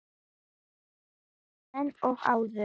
Helen og Auður.